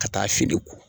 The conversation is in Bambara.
Ka taa fini ko